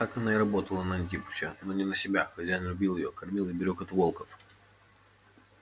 так она и работала на антипыча но не на себя хозяин любил её кормил и берёг от волков